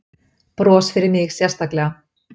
Bros fyrir mig sérstaklega.